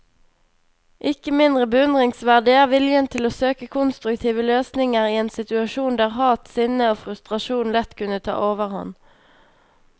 Ikke mindre beundringsverdig er viljen til å søke konstruktive løsninger i en situasjon der hat, sinne og frustrasjon lett kunne ta overhånd.